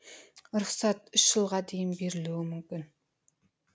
рұқсат үш жылға дейін берілуі мүмкін